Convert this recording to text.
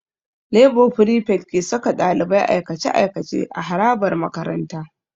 Lebo frifet ke saka ɗalibai aikace-aikace a harabar makaranta.